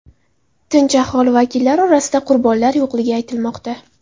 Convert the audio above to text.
Tinch aholi vakillari orasida qurbonlar yo‘qligi aytilmoqda.